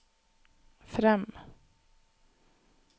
frem